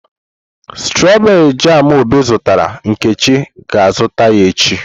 Stroberii jamu obi zụtara, Nkechi ga-azụta ya echi.